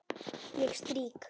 Ég strýk.